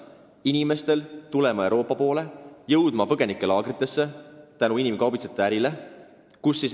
Inimesed suunduvad sealt Euroopasse ja jõuavad põgenikelaagritesse tänu inimkaubitsejate ärile.